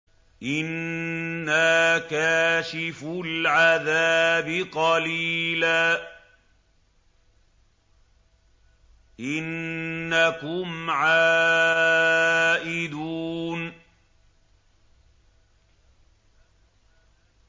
إِنَّا كَاشِفُو الْعَذَابِ قَلِيلًا ۚ إِنَّكُمْ عَائِدُونَ